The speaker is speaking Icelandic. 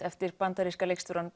eftir bandaríska leikstjórann